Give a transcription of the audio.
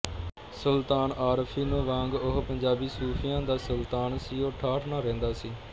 ਸੁਲਤਾਨੁਲਆਰਫ਼ੀਨ ਵਾਂਗ ਉਹ ਪੰਜਾਬੀ ਸੂਫ਼ੀਆਂ ਦਾ ਸੁਲਤਾਨ ਸੀ ਉਹ ਠਾਠ ਨਾਲ ਰਹਿੰਦਾ ਸੀ